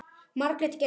Margrét Geirs.